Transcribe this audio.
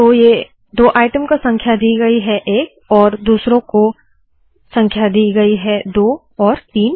तो ये दो आइटम को संख्या दि गयी है 1 और दूसरों को संख्या 2 और 3